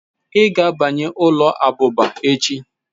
Ị ga-abanye ụlọ abụba echi